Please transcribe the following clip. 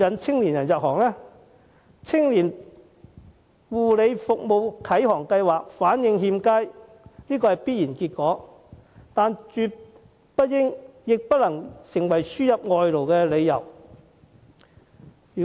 "青年護理服務啟航計劃"反應欠佳是必然的，但這絕不應該、亦不能成為輸入外勞的理由。